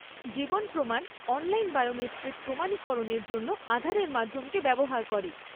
জীবন প্রমাণ online biometric প্রমাণীকরণের জন্য আধারের মাধ্যমকে ব্যবহার করে।